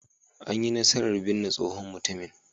An yi nasarar binne tsohon mutumin.